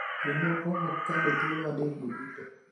jomoko ok kale thuolo adek go duto.